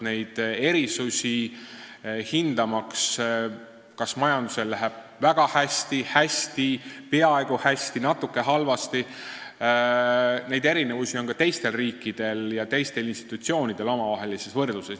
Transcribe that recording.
Kui hinnatakse, kas majandusel läheb väga hästi, hästi, peaaegu hästi või natuke halvasti, siis neid erinevusi on ka teiste riikide ja teiste institutsioonide omavahelises võrdluses.